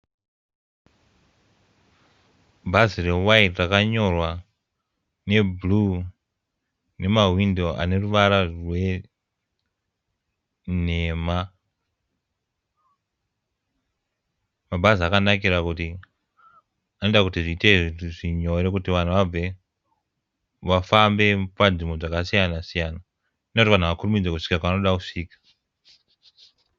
Bhazi re waiti rakanyorwa ne bhuruu nemawindow ane ruwara rwe nhema. Mabhazi akanakira kuti anoita kuti zviite nyore vanhu vabve vafambe panzvimbo dzakasiyana siyana anoita kuti vanhu vakurumidze kusvika kwavanoda kusvika.